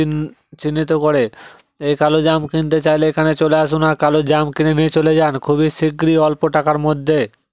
চিন চিহ্নিত করে এ কালো জাম কিনতে চাইলে এখানে চলে আসুন আর কালো জাম কিনে নিয়ে চলে যান খুবই শিগগিরই অল্প টাকার মধ্যে।